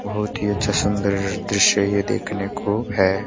बहोत ही अच्छा सुंदर दृश्य ये देखने को है।